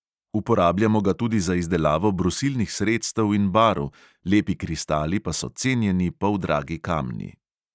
Uporabljamo ga tudi za izdelavo brusilnih sredstev in barv, lepi kristali pa so cenjeni poldragi kamni.